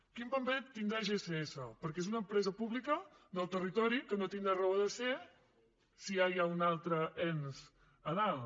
quin paper tindrà gss perquè és una empresa pública del territori que no tindrà raó de ser si ja hi ha un altre ens a dalt